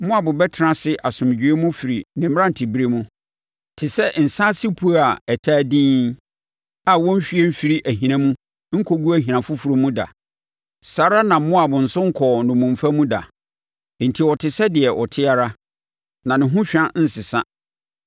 “Moab atena ase asomdwoeɛ mu firi ne mmerante ɛberɛ mu, te sɛ nsã ase puo a ataa dinn a wɔnnhwie mfirii ahina mu nkɔguu ahina foforɔ mu da; saa ara na Moab nso nkɔɔ nnommumfa mu da. Enti ɔte sɛ deɛ ɔte ara, na ne ho hwa nsesa.